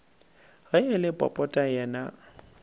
ge e le popota yena